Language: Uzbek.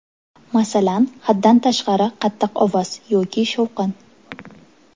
Masalan, haddan tashqari qattiq ovoz yoki shovqin.